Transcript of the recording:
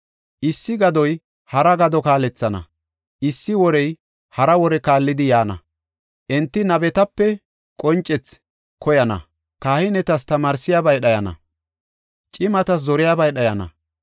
Issi gadoy hara gado kaalethana; issi worey hara wore kaallidi yaana. Enti nabetape qoncethi koyana; Kahinetas tamaarsiyabay dhayana; cimatas zoriyabay dhayana.